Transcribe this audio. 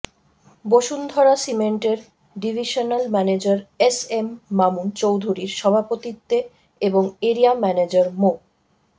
বসুন্ধরা সিমেন্টের divisional manager S M Mamun চৌধুরীর সভাপতিত্বে এবং এরিয়া ম্যানেজার মো